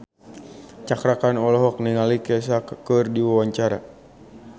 Cakra Khan olohok ningali Kesha keur diwawancara